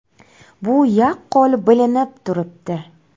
Bu yaqqol bilinib turibdi.